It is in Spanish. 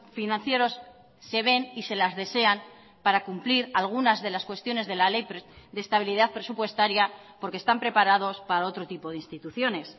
financieros se ven y se las desean para cumplir algunas de las cuestiones de la ley de estabilidad presupuestaria porque están preparados para otro tipo de instituciones